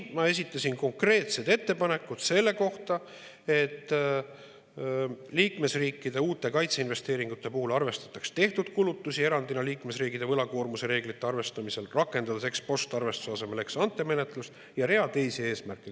Ma esitasin konkreetsed ettepanekud selle kohta, et liikmesriikide uute kaitseinvesteeringute puhul arvestataks tehtud kulutusi erandina liikmesriikide võlakoormuse reeglite arvestamisel, rakendades ex‑post‑arvestuse asemel ex‑ante‑menetlust, ja hulga teisi eesmärke.